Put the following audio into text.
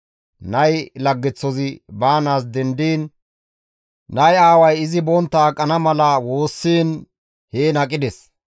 Nay laggeththozi baanaas dendiin nay aaway izi bontta aqana mala woossiin heen aqides.